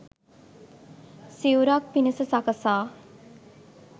සිවුරක් පිණිස සකසා